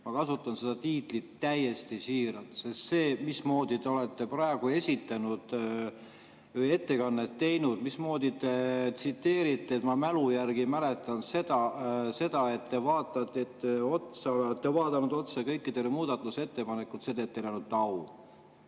Ma kasutan seda tiitlit täiesti siiralt, sest see, mismoodi te olete praegu ettekannet teinud, mismoodi te tsiteerite, et ma mälu järgi ütlen seda – see, et te olete vaadanud otsa kõikidele muudatusettepanekutele, teeb teile ainult au.